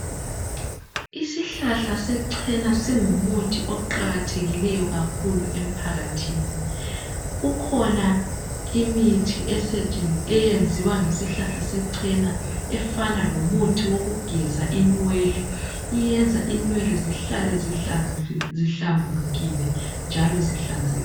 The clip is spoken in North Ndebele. Isihlahla sechena singumuthi oqakathekileyo kakhulu emphakathini kukhona imithi eyenziwa ngesihlahla sechena efana lomuthi wokugeza inwele iyenza inwele zihlale zihlambulukile njalo zihlanzekile